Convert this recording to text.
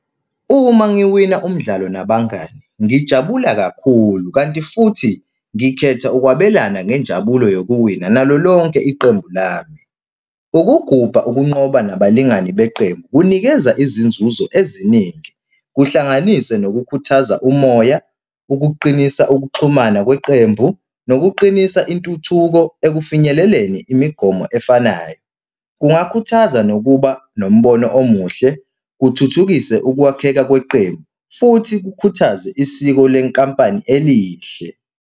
Uma ngiwina umdlalo nabangani, ngijabula kakhulu kanti futhi ngikhetha ukwabelana ngenjabulo yokuwina nalo lonke iqembu lami. Ukugubha ukunqoba nabalingani beqembu kunikeza izinzuzo eziningi, kuhlanganise nokukhuthaza umoya, ukuqinisa ukuxhumana kweqembu, nokuqinisa intuthuko ekufinyeleleni imigomo efanayo. Kungakhuthaza nokuba nombono omuhle, kuthuthukise ukwakheka kweqembu futhi kukhuthaze isiko lenkampani elihle.